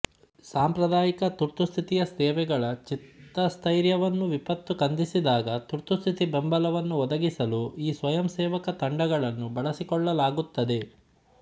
ಸಾಂಪ್ರದಾಯಿಕ ತುರ್ತುಸ್ಥಿತಿಯ ಸೇವೆಗಳ ಚಿತ್ತಸ್ಥೈರ್ಯವನ್ನು ವಿಪತ್ತು ಕುಂದಿಸಿದಾಗ ತುರ್ತುಸ್ಥಿತಿ ಬೆಂಬಲವನ್ನು ಒದಗಿಸಲು ಈ ಸ್ವಯಂಸೇವಕ ತಂಡಗಳನ್ನು ಬಳಸಿಕೊಳ್ಳಲಾಗುತ್ತದೆ